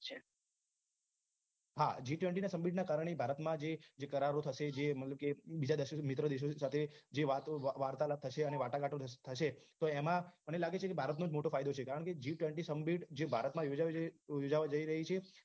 હા g twenty સંધીના કારણે જે ભારતમાં જે કરારો થશે જે મતલબ કે બીજા મિત્ર દેશો સાથે જે વાર્તા લાપ થશે વાટાઘાટો થશે તો એમાં મને લાગે છે કે ભારતનો જ મોટો ફાયદો છે કારણ કે g twenty સંમિત જે ભારતમાં યોજાવા જઈ યોજવા જઈ રહી છે